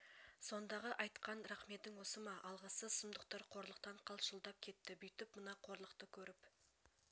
сондағы айтқан рақметің осы ма алғыссыз сұмдықтар қорлықтан қалшылдап кетті бүйтіп мына қорлықты көріп